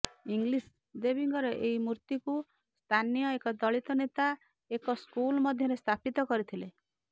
English ଦେବୀଙ୍କର ଏହି ମୂର୍ତ୍ତିକୁ ସ୍ଥାନୀୟ ଏକ ଦଳିତ ନେତା ଏକ ସ୍କୁଲ୍ ମଧ୍ୟରେ ସ୍ଥାପିତ କରିଥିଲେ